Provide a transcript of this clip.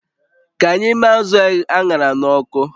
Ka anyị mee azụ̀ a ṅara n'ọkụ